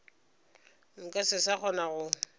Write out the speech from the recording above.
nka se sa kgona go